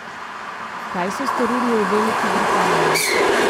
Kaj so storili v Veliki Britaniji?